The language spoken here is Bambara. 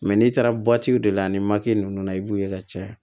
n'i taara de la ni nunnu na i b'u ye ka caya